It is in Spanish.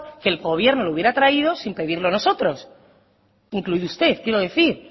que el gobierno lo hubiera traído sin pedirlo nosotros incluido usted quiero decir